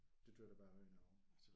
Det troede jeg da bare var i Norge